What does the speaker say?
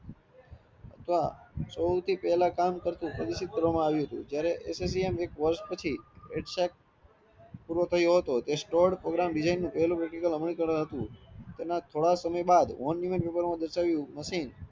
અથવા સૌથી પ્હેલાં કામ કરતુ કરવામાં આવ્યું હતું જયારે associan ના પોસ્ટ પછી પૂરો થયો હતો તે સ્ટડ programming design પેલું પ્રકટીકાળ હતું એના થોડા સમય બાદ દર્શાવ્યું માચીને